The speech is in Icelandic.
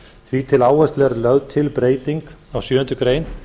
því til áherslu er lögð til breyting á sjöundu grein